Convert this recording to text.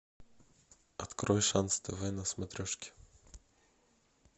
открой шанс тв на смотрешке